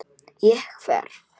Ég hverf.